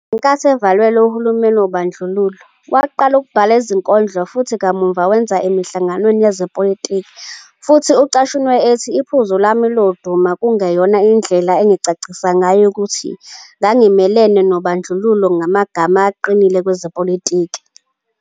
Ngenkathi evalelwe uhulumeni wobandlululo, waqala ukubhala izinkondlo, futhi kamuva wenza emihlanganweni yezepolitiki, futhi ucashunwe ethi. Iphuzu lami lodumo kwakungeyona indlela engingacacisa ngayo ukuthi ngangimelene nobandlululo ngamagama aqinile kwezepolitiki.